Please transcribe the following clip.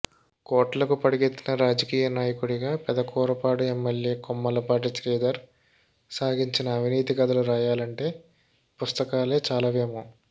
కోట్లకు పడగెత్తిన రాజకీయ నాయకుడిగా పెదకూరపాడు ఎమ్మెల్యే కొమ్మాలపాటి శ్రీధర్ సాగించిన అవినీతి కథలు రాయాలంటే పుస్తకాలే చాలవేమో